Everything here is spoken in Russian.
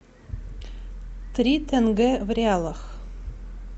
три тенге в реалах